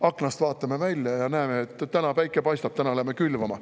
Aknast vaatame välja ja näeme, et täna päike paistab, täna läheme külvama.